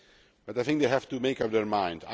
But I think they have to make up their mind.